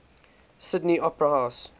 sydney opera house